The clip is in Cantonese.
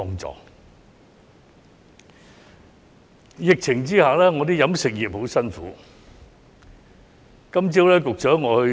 在疫情下，飲食業艱苦經營。